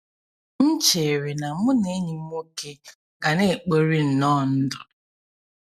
M chere na mụ na enyi m nwoke ga na-ekpori nnọọ ndụ.